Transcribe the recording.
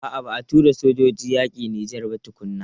A'a ba a tura sojoji yakin Nijar ba tukuna.